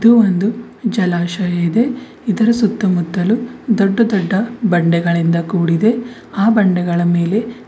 ಇದು ಒಂದು ಜಲಾಶಯ ಇದೆ ಇದರ ಸುತ್ತ ಮುತ್ತಲೂ ದೊಡ್ಡ ದೊಡ್ದ ಬಂಡೆಗಳಿಂದ ಕೂಡಿದೆ ಆ ಬಂಡೆಗಳ ಮೇಲೆ--